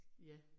Ja